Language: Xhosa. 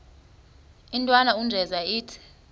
intwana unjeza ithi